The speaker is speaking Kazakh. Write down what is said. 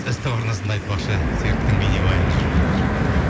ств арнасында айтпақшы серіктің бейнебаяны жүріп жатыр